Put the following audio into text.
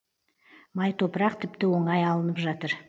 май топырақ тіпті оңай алынып жатыр